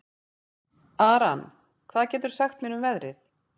Aran, hvað geturðu sagt mér um veðrið?